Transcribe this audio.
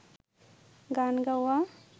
গান গাওয়া